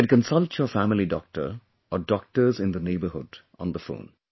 You can consult your family doctor or doctors in the neighbourhood on the phone